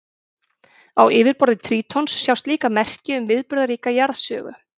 Á yfirborði Trítons sjást líka merki um viðburðaríka jarðsögu.